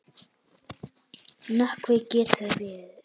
Nökkvi getur verið